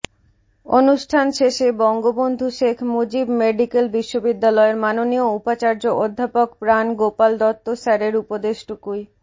অনুষ্ঠান শেষে বঙ্গবন্ধু শেখ মুজিব মেডিকেল বিশ্ববিদ্যালয়ের মাননীয় উপাচার্য অধ্যাপক প্রাণ গোপাল দত্ত স্যারের উপদেশটুকুই